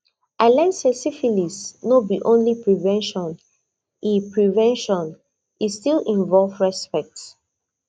i learn say syphilis no be only prevention e prevention e still involve respect